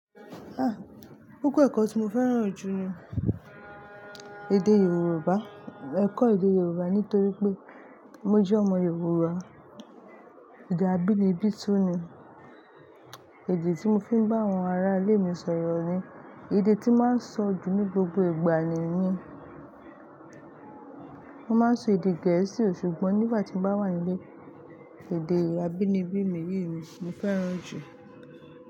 Ah! Kokọ ẹ̀kọ́ tí mo fẹ́ràn jù ni èdè Yorùbá. Ẹ̀kọ́ èdè Yorùbá nítorí pé mo jẹ́ ọmọ Yorùbá. Èdè abínibí tún ni, èdè tí mo fi ń bá àwọn ará ilé mi sọ̀rọ̀ ni, èdè tí màá ń sọ jù ní gbogbo ìgbà ni niyen. Mo máa ń sọ èdè gẹ̀ẹ́sì ò ṣùgbọ́n nígbà tí mo bá wà nílé, èdè abínibí mi yìí ni mo fẹ́ràn jù.